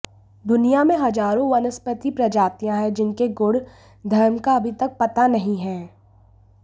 दुनियां में हजारों वनस्पति प्रजातियां हैं जिनके गुण धर्म का अभी तक पता नहीं है